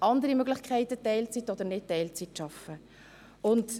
Sie haben andere Möglichkeiten, um Teilzeit oder nicht Teilzeit zu arbeiten.